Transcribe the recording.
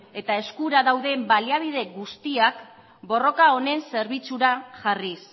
eta eskura dauden baliabide guztiak borroka honen zerbitzura jarriz